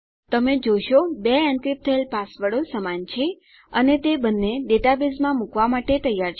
તમે જોશો 2 એન્ક્રિપ્ટ થયેલ પાસવર્ડો સમાન છે અને તે બંને ડેટાબેઝમાં મુકવા માટે તૈયાર છે